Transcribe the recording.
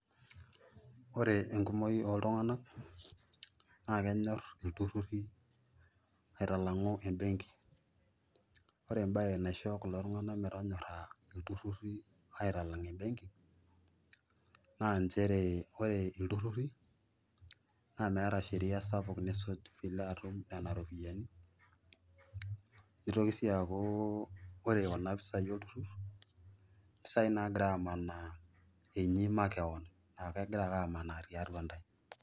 Oore enkumou oltung'anak naa kenyor iltururi aitalang'u embenki. Oore embaye naisho kulo tung'anak metonyora iltururi aitalang embenki, naa inchere oore iltururi naa meeta sheria sapuk nisuj piilo atum nena ropiyiani. Neitoki sii aaku oore kuna pisai olturur impisai nagira amanaa inyi makeon aah kegira aake amanaa tiatua intae.